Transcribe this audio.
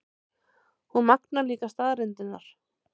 Hún magnar líka staðreyndirnar.